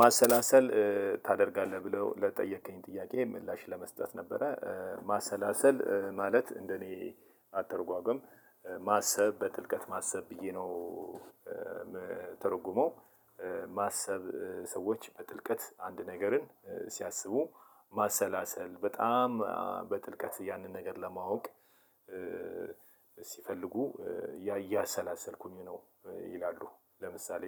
ማሰላሰል ታደርጋለህ ብለው ለጠየከኝ ጥያቄ ምላሽ ለመስጠት ነበረ ማሰላሰል ማለት እንደኔ አተረጓጎም ማሰብ በጥልቀት ማሰብ ብዬ ነው። ምተረጉመው ማሰብ ሰዎች በጥልቀት አንድ ነገርን ሲያስቡ። ማሰላሰል በጣም በጥልቀት ያንን ነገር ለማወቅ ሲፈልጉ እያሰላሰልኩኝ ነው ይላሉ። ለምሳሌ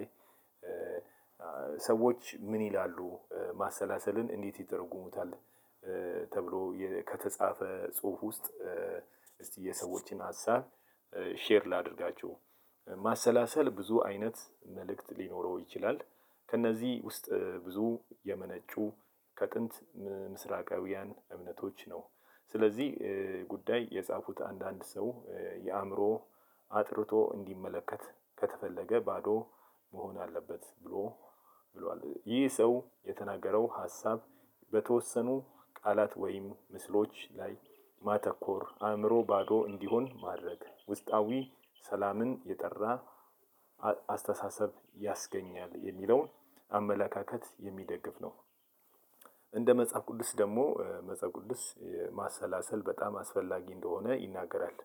ሰዎች ምን ይላሉ ማሰላሰልን እንዴት ይተረጉሙታል? ተብሎ የ ከተጻፈ ጽሁፍ ውስጥ እስቲ የሰዎችን ሀሳብ ሼር ላድርጋችሁ። ማሰላሰል ብዙ አይነት መልክት ሊኖረው ይችላል ከእነዚህ ውስጥ ብዙ የመነጩ ከጥንት ምስራቃውያን እምነቶች ነው። ስለዚህ ጉዳይ የጻፉት አንዳንድ ሰው የአእምሮ አጥርቶ እንዲመለከት ከተፈለገ ባዶ መሆን አለበት ብሎ ብሏል። ይህ ሰው የተናገረው ሀሳብ በተወሰኑ ቃላት ወይም ምስሎች ላይ ማተኮር አእምሮ ባዶ እንዲሆን ማድረግ ውስጣዊ ሰላምን የጠራ አ አስተሳሰብ ያስገኛል የሚለውን አመላካከት የሚደግፍ ነው። እንደ መጽሐፍ ቅዱስ ደግሞ መጽሐፍ ቅዱስ ማሰላሰል በጣም አስፈላጊ እንደሆነ ይናገራል።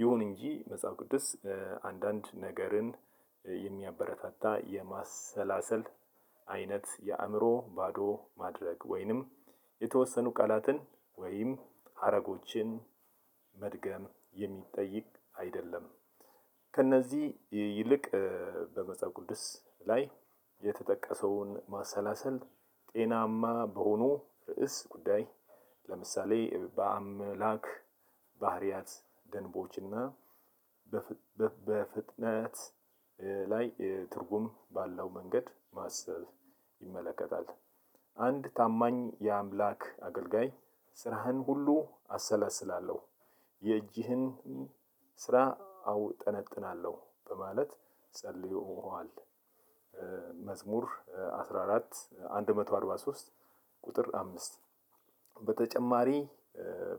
ይሁን እንጂ መጽሐፍ ቅዱስ አንዳንድ ነገርን የሚያበረታታ የማሰላሰል አይነት የአእምሮ ባዶ ማድረግ ወይንም የተወሰኑ ቃላትን ወይም ሀረጎችን መድገም የሚጠይቅ አይደለም። ከእነዚህ ይልቅ በመጽሃፍ ቅዱስ ላይ የተጠቀሰውን ማሰላሰል ጤናማ በሆኑ ርዕስ ጉዳይ ለምሳሌ በአምላክ ባህሪያት ደንቦችና በፍ በፍ በፍጥነት ላይ ትርጉም ባለው መንገድ ማሰብ ይመለከታል። አንድ ታማኝ የአምላክ አገልጋይ ስራህን ሁሉ አሰላስላለሁ የእጅህን ስራ አውጠነጥናለሁ በማለት ጸልዮኸል። መዝሙር አስራ አራት አንድ መቶ አርባ ሶስት ቁጥር አምስት። በተጨማሪ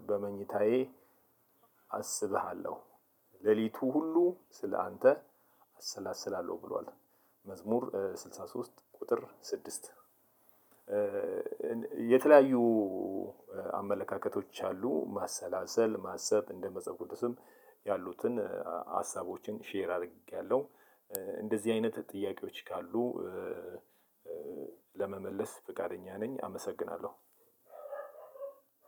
በመኝታዬ አስብሃለሁ ሌሊቱ ሁሉ ስለአንተ አሰላስላለሁ ብሏል። መዝሙር ስልሳ ሶስት ቁጥር ስድስት። የተለያዩ አመለካከቶች አሉ። ማሰላሰል ማሰብ እንደ መፅሃፍ ቅዱስም ያሉትን ሀሳቦችን ሼር አርጌያለሁ። እንደዚህ አይነት ጥያቄዎች ካሉ ለመመለስ ፍቃደኛ ነኝ። አመሰግናለሁ።